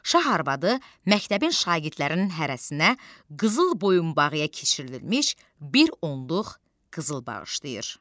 Şah arvadı məktəbin şagirdlərinin hərəsinə qızıl boyunbağıya keçirilmiş bir onluq qızıl bağışlayır.